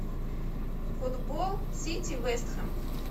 футбол сити вест хэм